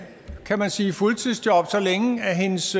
kan man sige fuldtidsjob så længe at hendes